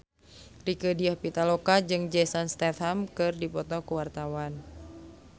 Rieke Diah Pitaloka jeung Jason Statham keur dipoto ku wartawan